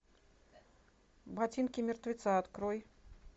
ботинки мертвеца открой